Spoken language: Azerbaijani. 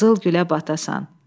Qızıl gülə batasan.